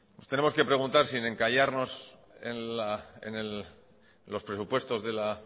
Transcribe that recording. nos tenemos que preguntar si el encallarnos en los presupuestos de la